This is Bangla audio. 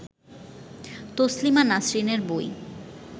তসলিমা নাসরিনের বই